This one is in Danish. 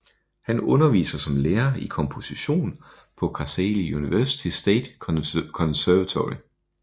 Han underviser som lærer i komposition på Kocaeli University State Conservatory